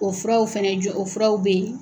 O furaw fɛnɛ jɔ o furaraw be ye